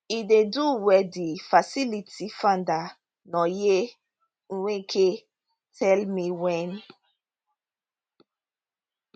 e dey do well di facility founder nonye nweke tell me wen